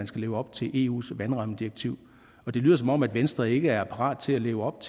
skal leve op til eus vandrammedirektiv det lyder som om venstre ikke er parat til at leve op